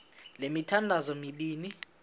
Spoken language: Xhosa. le mithandazo mibini